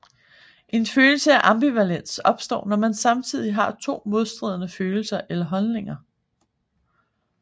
En følelse af ambivalens opstår når man samtidig har to modstridende følelser eller holdninger